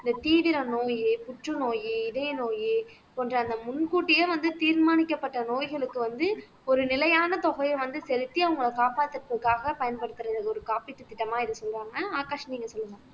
இந்த தீவிர நோயி புற்றுநோய் இதயநோய் போன்ற அந்த முன் கூட்டியே வந்து தீர்மானிக்கப்பட்ட நோய்களுக்கு வந்து ஒரு நிலையான தொகையை வந்து செலுத்தி அவங்களை காப்பாத்துறதுக்காக பயன்படுத்துறது ஒரு காப்பீட்டு திட்டமா இத சொல்லுவாங்க ஆகாஷ் நீங்க சொல்லுங்க